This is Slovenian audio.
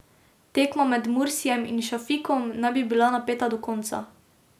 Tekma med Mursijem in Šafikom naj bi bila napeta do konca.